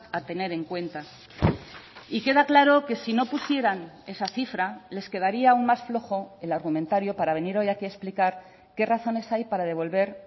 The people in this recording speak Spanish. a tener en cuenta y queda claro que si no pusieran esa cifra les quedaría aun más flojo el argumentario para venir hoy aquí a explicar qué razones hay para devolver